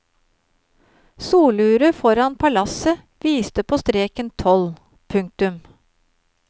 Soluret foran palasset viste på streken tolv. punktum